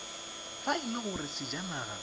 fa e le gore sejanaga